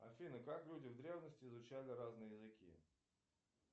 афина как люди в древности изучали разные языки